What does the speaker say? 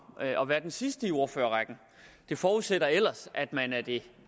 at være den sidste i ordførerrækken det forudsætter ellers at man er det